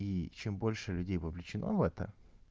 и чем больше людей вовлечено в это